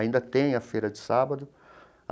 Ainda tem a feira de sábado.